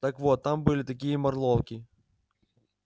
так вот там были такие морлоки